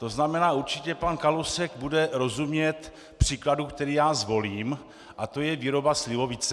To znamená, určitě pan Kalousek bude rozumět příkladu, který já zvolím, a to je výroba slivovice.